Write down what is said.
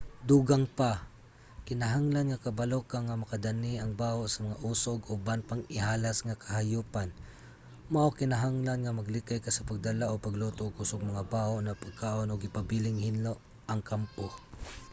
dugang pa kinahanglan nga kabalo ka nga makadani ang baho sa mga oso ug uban pang ihalas nga kahayupan mao kinahanglan nga maglikay ka sa pagdala o pagluto og kusog nga baho na pagkaon ug ipabiling hinlo ang kampo